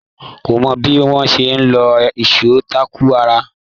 Kò mọ bí wọ́n ṣe ń lo ìṣó táàkù rárá.